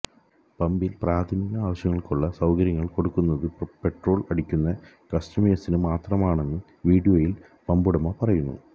പമ്പില് പ്രാഥമിക ആവശ്യങ്ങള്ക്കുള്ള സൌകര്യം കൊടുക്കുന്നത് പെട്രോള് അടിക്കുന്ന കസ്റ്റമേഴ്സിന് മാത്രമാണെന്ന് വീഡിയോയില് പമ്പുടമ പറയുന്നു